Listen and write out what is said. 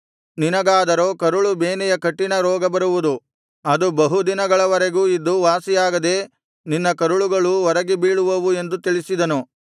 ನಿನಗಾದರೋ ಕರುಳು ಬೇನೆಯ ಕಠಿಣ ರೋಗ ಬರುವುದು ಅದು ಬಹು ದಿನಗಳವರೆಗೂ ಇದ್ದು ವಾಸಿಯಾಗದೇ ನಿನ್ನ ಕರುಳುಗಳು ಹೊರಗೆ ಬೀಳುವುವು ಎಂದು ತಿಳಿಸಿದನು